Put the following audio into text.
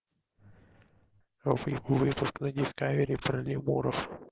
выпуск на дискавери про лемуров